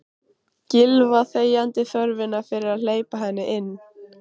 Gylfa þegjandi þörfina fyrir að hleypa henni inn.